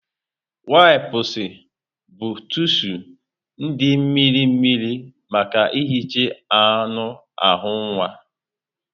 Wipụsụ bụ tishụ dị mmirimmiri maka ihicha anụ ahụ nwa.